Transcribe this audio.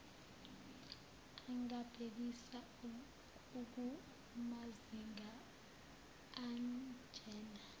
angabhekisa kumazinga anjena